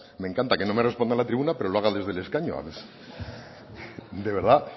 me encanta que no me responda a la tribuna pero lo haga desde el escaño de verdad